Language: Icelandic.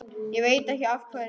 Ég veit ekkert af hverju.